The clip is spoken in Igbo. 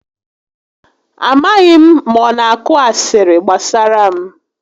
A maghị m ma ọ na akụ asịrị gbasara m